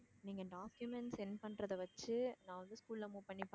நீங்க document send பண்றத வச்சு நான் வந்து school ல move பண்ணி